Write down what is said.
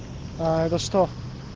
а это что